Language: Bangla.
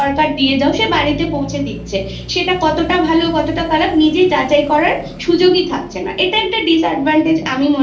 খর্ব হয় সেটা হবে কারণ Class Two অবধি যদি বাচ্ছারা কোনো লিখতেই না পারলো বা লেখার প্রয়োজনীয়তা অনুভব না করতে পারলো